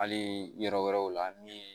Hali yɔrɔ wɛrɛw la min ye